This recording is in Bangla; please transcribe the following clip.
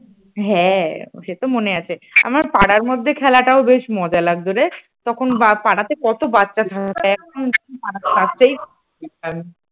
হ্যাঁ সে তো মনে আছে আমার পাড়ার মধ্যে খেলাটা বেশ মজা লাগতো রে তখন পাড়াতে কত বাচ্চা এখন